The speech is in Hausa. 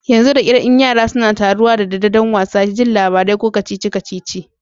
Yanzu da kar in Yara suna taruwa da daddare dan wasa, yin labarai ko kacici kacici.